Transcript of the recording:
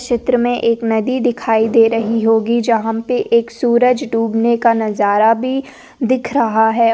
चित्र में एक नदी दिखाई दे रही होगी जहाँ पे एक सूरज डूबने का नजारा भी दिख रहा है।